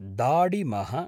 दाडिमः